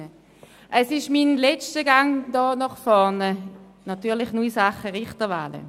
Ich komme zum letzten Mal hier nach vorne in Sachen Richterwahlen.